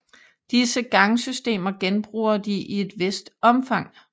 Disse gangsystemer genbruger de i et vist omfang